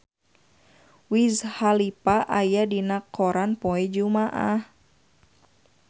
Wiz Khalifa aya dina koran poe Jumaah